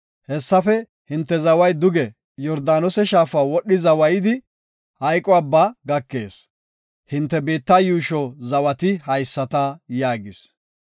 Hessafe hinte zaway duge Yordaanose shaafa wodhi zawaydi Maxine Abbaa gakees. Hinte biitta yuusho zawati haysata” yaagis.